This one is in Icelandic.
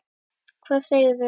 Hvað segirðu?